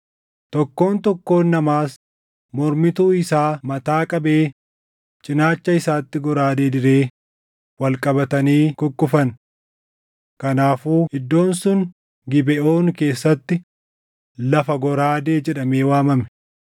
Tokkoon tokkoon namaas mormituu isaa mataa qabee cinaacha isaatti goraadee diree wal qabatanii kukkufan. Kanaafuu iddoon sun Gibeʼoon keessatti lafa goraadee jedhamee waamame.